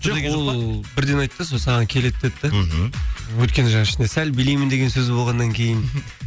жоқ ол бірден айтты сол саған келеді деді де мхм өйткені жаңағы ішінде сәл билеймін деген сөзі болғаннан кейін